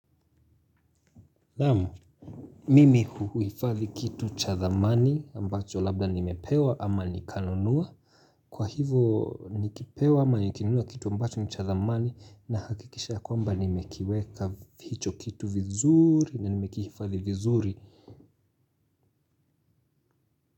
Naamu, mimi huifadhi kitu cha thamani ambacho labda nimepewa ama nikanunua. Kwa hivo nikipewa ama nikinunua kitu ambacho ni cha thamani nahakikisha kwamba nimekiweka hicho kitu vizuri na nimekihifadhi vizuri.